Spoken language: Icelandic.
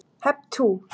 Hep tú!